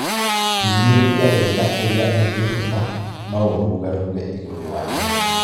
Hinyĩrĩria wega ũria ũngĩhota, no ũrũgarũge igũru wa nyeki